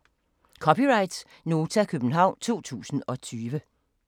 (c) Nota, København 2020